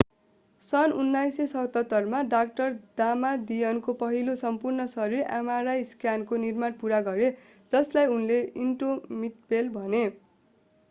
सन् 1977 मा डा दामादियनले पहिलो सम्पूर्ण-शरीर mri स्क्यानरको निर्माण पूरा गरे जसलाई उनले इन्डोमिटेबल भने